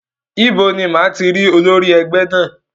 Ibo ni máa ti rí olórí ẹgbẹ́ náà?